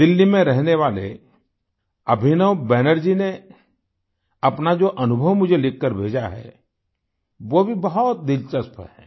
दिल्ली में रहने वाले अभिनव बैनर्जी ने अपना जो अनुभव मुझे लिखकर भेजा है वो भी बहुत दिलचस्प है